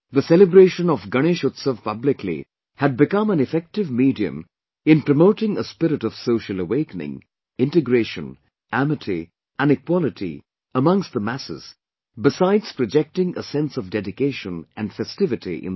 The celebration of Ganesh Utsav publicly had become an effective medium in promoting a spirit of social awakening, integration, amity and equality among the masses besides projecting a sense of dedication and festivity in them